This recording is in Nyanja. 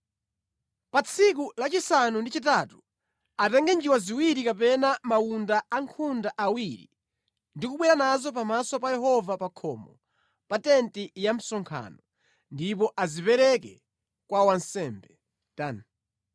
Pa tsiku la chisanu ndi chitatu atenge njiwa ziwiri kapena mawunda a nkhunda awiri ndi kubwera nazo pamaso pa Yehova pa khomo pa tenti ya msonkhano ndipo azipereke kwa wansembe.